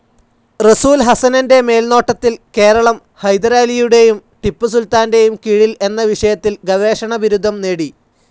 റസൂൽ ഹസനൻ്റെ മേൽനോട്ടത്തിൽ കേരളം ഹൈദരാലിയുടെയും ടിപ്പു സുൽത്താൻ്റെയും കീഴിൽ എന്ന വിഷയത്തിൽ ഗവേഷണ ബിരുദം നേടി.